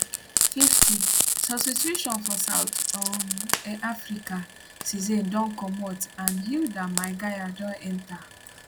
50 substituiton for south um um africa cesane don comot and hildah maigaia don enta